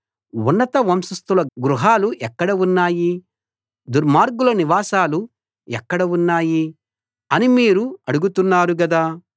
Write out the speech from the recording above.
ఉన్నత వంశస్థుల గృహాలు ఎక్కడ ఉన్నాయి దుర్మార్గుల నివాసాలు ఎక్కడ ఉన్నాయి అని మీరు అడుగుతున్నారు గదా